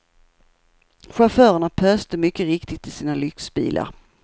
Chaufförerna pöste mycket riktigt i sina lyxbilar.